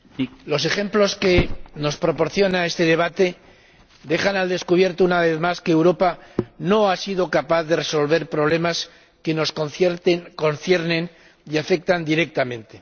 Señor Presidente, los ejemplos que nos proporciona este debate dejan al descubierto, una vez más, que Europa no ha sido capaz de resolver problemas que nos conciernen y afectan directamente.